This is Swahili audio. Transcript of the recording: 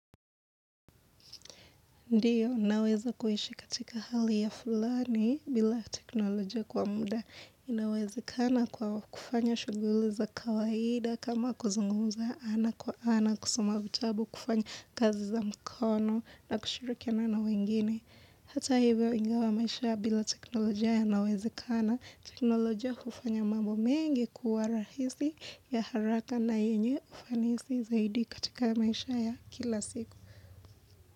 Ndiyo, naweza kuishi katika hali ya fulani bila teknoloja kwa muda. Inawezakana kwa kufanya shughuli za kawaida kama kuzungumuza ana kwa ana kusoma vitabu kufanya kazi za mkono na kushirikiana na wengine. Hata hivyo ingawa maisha bila teknoloja yanawezekana, teknoloja hufanya mambo mengi kuwa rahisi ya haraka na yenye ufanisi zaidi katika maisha ya kila siku.